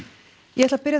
ég ætla að byrja